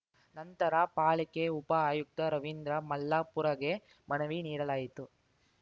ನಂತರ ಪಾಲಿಕೆ ಉಪ ಆಯುಕ್ತ ರವೀಂದ್ರ ಮಲ್ಲಾಪುರಗೆ ಮನವಿ ನೀಡಲಾಯಿತು